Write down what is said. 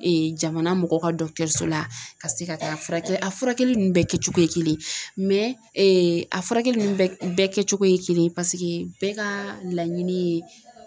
jamana mɔgɔw ka la ka se ka taa a furakɛli a furakɛli ninnu bɛɛ kɛcogo ye kelen ye mɛ a furakɛli ninnu bɛɛ kɛcogo ye kelen ye paseke bɛɛ ka laɲini ye